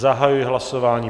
zahajuji hlasování.